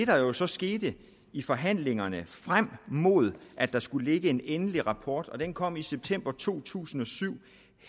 der jo så skete i forhandlingerne frem mod at der skulle ligge en endelig rapport og den kom i september to tusind og syv